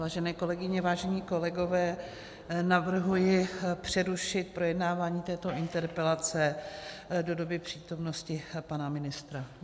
Vážené kolegyně, vážení kolegové, navrhuji přerušit projednávání této interpelace do doby přítomnosti pana ministra.